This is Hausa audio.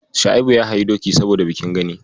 Shua'ibu ya hayi doki saboda bikin Gani.